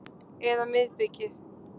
Eða miðbikið.